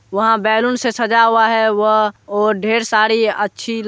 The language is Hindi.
यहाँ बैलून से सजा हुआ है यहाँ ढेर सारी अच्छी--